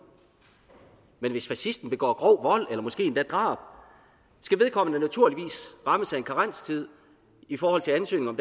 men hvis fascisten begår grov vold eller måske endda drab skal vedkommende naturligvis rammes af en karenstid i forhold til ansøgning om